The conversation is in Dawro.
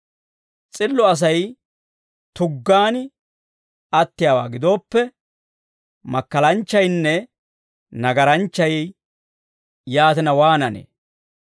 S'illo Asay tuggaan attiyaawaa gidooppe, makkalanchchaynne nagaranchchay yaatina waananee?